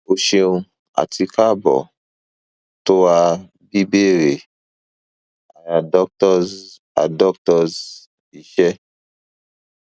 o ṣeun ati kaabo to a bíbéèrè a doctors a doctors iṣẹ